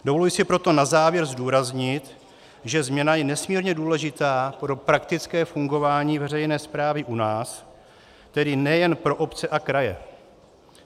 Dovoluji si proto na závěr zdůraznit, že změna je nesmírně důležitá pro praktické fungování veřejné správy u nás, tedy nejen pro obce a kraje.